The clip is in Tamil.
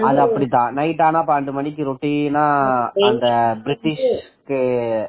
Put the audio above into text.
அது அப்டித்தான் night ஆனா பன்னண்டு மணிக்கு routine னா இந்த பிரிட்டிஷ்க்கு